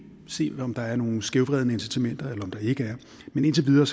se om der er nogle skævvredne incitamenter eller om der ikke er men indtil videre